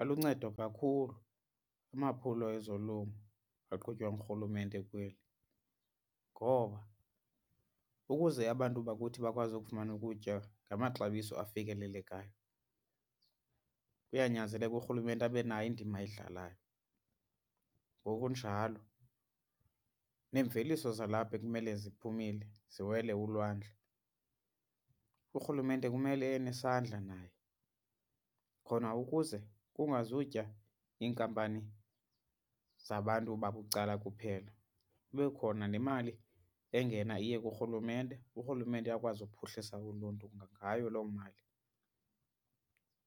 Aluncedo kakhulu amaphulo ezolimo aqhutywa nguRhulumente kweli, ngoba ukuze abantu bakuthi bakwazi ukufumana ukutya ngamaxabiso afikelelekayo kuyanyanzeleka uRhulumente abe nayo indima ayidlalayo. Ngokunjalo neemveliso zalapha ekumele ziphumile ziwele ulwandle uRhulumente kumele enesandla naye khona ukuze kungazutya iinkampani zabantu babucala kuphela. Kube khona nemali engena iye kuRhulumente uRhulumente akwazi ukuphuhlisa uluntu ngayo loo mali,